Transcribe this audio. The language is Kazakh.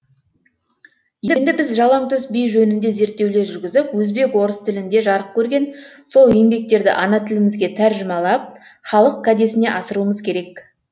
енді біз жалаңтөс би жөнінде зерттеулер жүргізіп өзбек орыс тілінде жарық көрген сол еңбектерді ана тілімізге тәржімалап халық кәдесіне асыруымыз керек